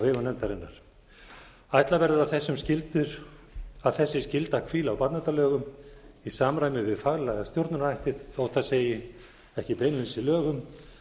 nefndarinnar ætla verður að þessi skylda hvíli á barnaverndarlögum í samræmi við faglega stjórnunarhætti mat ætlað segi ekki beinlínis í lögum